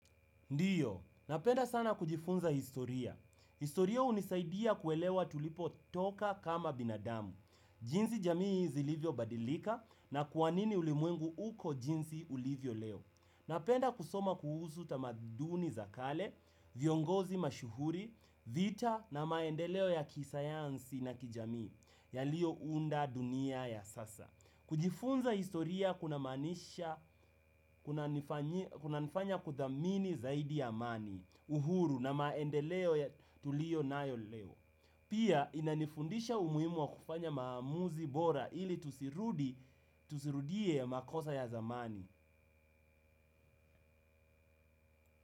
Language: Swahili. Ndiyo, napenda sana kujifunza historia. Historia hunisaidia kuelewa tulipo toka kama binadamu, jinsi jamii zilivyo badilika na kwa nini ulimwengu uko jinsi ulivyo leo. Napenda kusoma kuhusu utamaduni za kale, viongozi mashuhuri, vita na maendeleo ya kisayansi na kijamii, yaliyo unda dunia ya sasa. Kujifunza historia kuna maanisha unanifanya kudhamini zaidi ya amani, uhuru na maendeleo ya tulio nayo leo. Pia inanifundisha umuhimu wa kufanya maamuzi bora ili tusirudie makosa ya zamani.